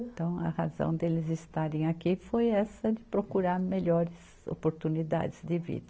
Então a razão deles estarem aqui foi essa de procurar melhores oportunidades de vida.